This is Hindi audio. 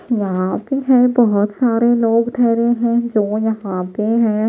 यहां पे है बहुत सारे लोग ठहरे हैं जो यहां पे हैं।